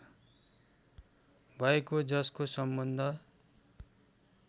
भएको जसको सम्बन्ध